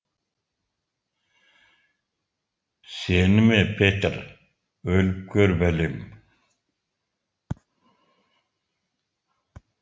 сені ме петр өліп көр бәлем